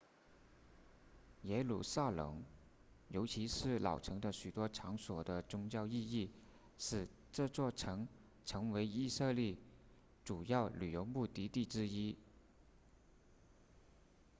耶路撒冷尤其是老城的许多场所的宗教意义使这座城成为以色列主要旅游目的地之一